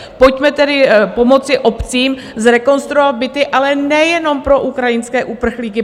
Pojďme tedy pomoci obcím zrekonstruovat byty, ale nejenom pro ukrajinské uprchlíky.